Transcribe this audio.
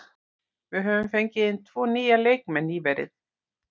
Við höfum fengið inn tvo nýja leikmenn nýverið.